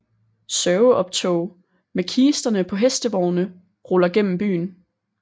Sørgeoptog med kisterne på hestevogne ruller gennem byen